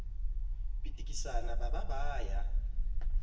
pitikisana ba ba ba ya